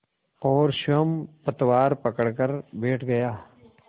और स्वयं पतवार पकड़कर बैठ गया